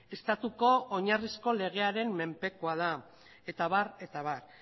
estatuko oinarrizko legearen menpekoa da eta abar eta abar